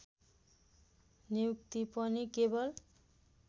नियुक्ति पनि केवल